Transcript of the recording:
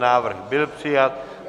Návrh byl přijat.